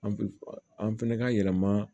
An pi an fɛnɛ ka yɛlɛma